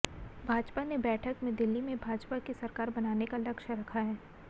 भाजपा ने बैठक में दिल्ली में भाजपा की सरकार बनाने का लक्ष्य रखा है